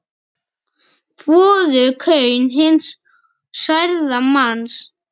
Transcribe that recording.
Þvoðu kaun hins særða manns.